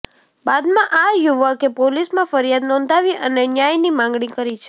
બાદમાં આ યુવકે પોલીસમાં ફરિયાદ નોંધાવી અને ન્યાયની માગણી કરી છે